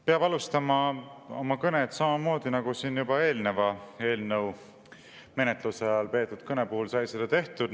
Peab alustama oma kõnet samamoodi, nagu siin juba eelneva eelnõu menetluse ajal peetud kõne puhul sai seda tehtud.